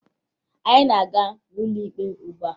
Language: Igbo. Anyị na-aga n'ụlọ ikpe ugbua